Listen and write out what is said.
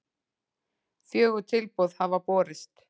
Fjögur tilboð hafa borist